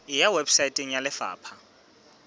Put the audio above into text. e ya weposaeteng ya lefapha